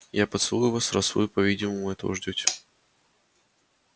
я поцелую вас раз вы по-видимому этого ждёте